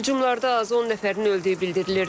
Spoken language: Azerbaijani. Hücumlarda azı 10 nəfərin öldüyü bildirilir.